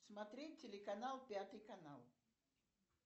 смотреть телеканал пятый канал